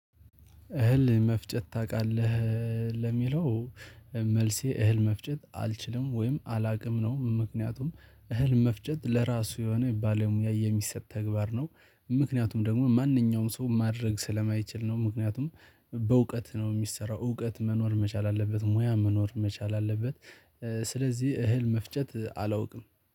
እህል መፍጨት ታውቃለህ? ለሚለው መልሴ እህል መፍጨት አልችልም ወይም አላውቅም ነው ምክንያቱም እህል መፍጨት ለራሱ የሆነ ባለሙያ የሚሰጥ ተግባር ነው። ምክንያቱም ደግሞ ማንኛውም ሰው ማድረግ ስለማይችል ነው ምክንያቱም በእውቀት ነው የሚሰራው እውቀት መኖር መቻል አለበት ሙያ መኖር መቻል አለበት፣ ስለዚህ እህል መፍጨት አላውቅም።